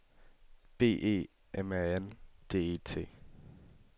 B E M A N D E T